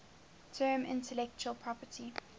term intellectual property